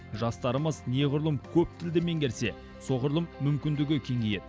жастарымыз неғұрлым көп тілді меңгерсе соғұрлым мүмкіндігі кеңейеді